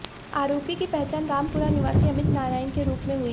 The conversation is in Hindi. आरोपी की पहचान रामपुरा निवासी अमित नारायण के रूप में हुई